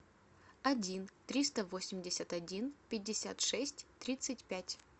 один триста восемьдесят один пятьдесят шесть тридцать пять